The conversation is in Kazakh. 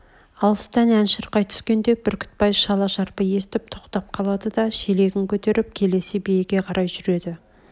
алыстан ән шырқай түскенде бүрктбай шала-шарпы естіп тоқтап қалады да шелегін көтеріп келесі биеге қарай жүреді